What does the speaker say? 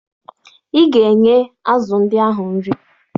Ị ga-enye azụ ndị ahụ nri!